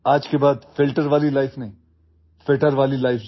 After today, don't live a filter life, live a fitter life